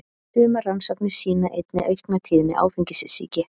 sumar rannsóknir sýna einnig aukna tíðni áfengissýki